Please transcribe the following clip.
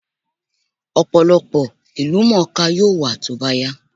Ọ̀pọ̀lọpọ̀ ìlúmọọká yóò wà tó bá yá